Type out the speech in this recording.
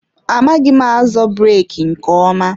Amaghị m azọ breeki nke ọma.